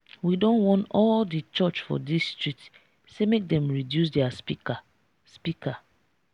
we don warn all di church for dis street sey make dem reduce their speaker. speaker.